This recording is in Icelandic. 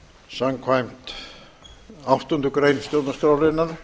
samkvæmt áttundu grein stjórnarskrárinnar